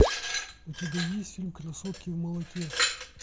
у тебя есть фильм красотки в молоке